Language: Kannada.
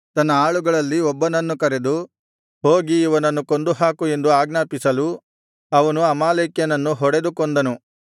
ತನ್ನ ಆಳುಗಳಲ್ಲಿ ಒಬ್ಬನನ್ನು ಕರೆದು ಹೋಗಿ ಇವನನ್ನು ಕೊಂದುಹಾಕು ಎಂದು ಆಜ್ಞಾಪಿಸಲು ಅವನು ಅಮಾಲೇಕ್ಯನನ್ನು ಹೊಡೆದು ಕೊಂದನು